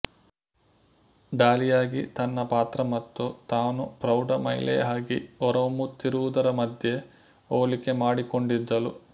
ಡಾಲಿಯಾಗಿ ತನ್ನ ಪಾತ್ರ ಮತ್ತು ತಾನು ಪ್ರೌಢ ಮಹಿಳೆಯಾಗಿ ಹೊರಹೊಮ್ಮುತ್ತಿರುವುದರ ಮಧ್ಯೆ ಹೋಲಿಕೆ ಮಾಡಿಕೊಂಡಿದ್ದಳು